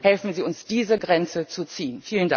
Bitte helfen Sie uns, diese Grenze zu ziehen!